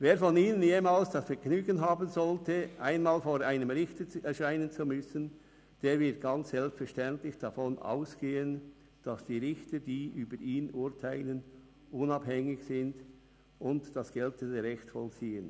Jeder von Ihnen, der jemals das Vergnügen haben sollte, vor einem Richter erscheinen zu müssen, wird ganz selbstverständlich davon ausgehen, dass die Richter, die über ihn urteilen, unabhängig sind und das geltende Recht vollziehen.